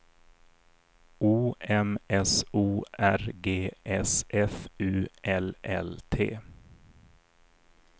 O M S O R G S F U L L T